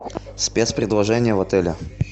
спецпредложения в отеле